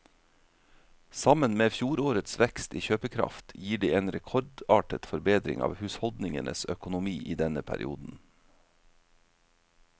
Sammen med fjorårets vekst i kjøpekraft gir det en rekordartet forbedring av husholdningenes økonomi i denne perioden.